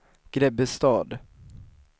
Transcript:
Grebbestad